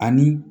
Ani